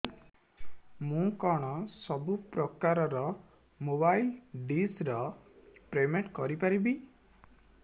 ମୁ କଣ ସବୁ ପ୍ରକାର ର ମୋବାଇଲ୍ ଡିସ୍ ର ପେମେଣ୍ଟ କରି ପାରିବି